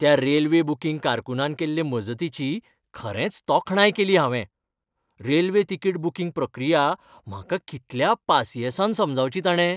त्या railway booking कारकुनान केल्ले मजतीची खरेंच तोखणाय केली हांवें. रेल्वे तिकीट बुकींग प्रक्रिया म्हाका कितल्या पासियेंसान समजावची ताणें!